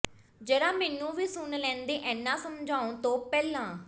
ਜ਼ਰਾ ਮੈਨੂੰ ਵੀ ਸੁਣ ਲੈਂਦੇ ਏਨਾ ਸਮਝਾਉਣ ਤੋਂ ਪਹਿਲਾਂ